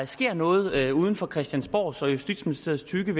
sker noget uden for christiansborgs og justitsministeriets tykke